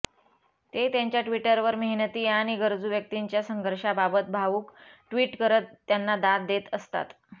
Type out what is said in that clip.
ते त्यांच्या ट्विटवर मेहनती आणि गरजू व्यक्तींच्या संघर्षांबाबत भावुक ट्विट करत त्यांना दाद देत असतात